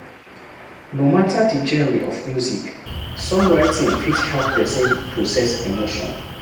No matter di genre of music song writing fit help person process emotion